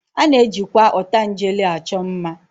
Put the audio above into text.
A na-ejikwa ọtangele achọ mma